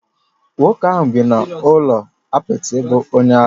Nwoke ahu bi n'ulo apịtị bu onye ara